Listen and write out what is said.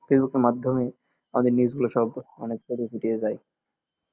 ফেসবুকের মাধ্যমে আমাদের news গুলা সব অনেক ছড়ে ছিটিয়ে যায়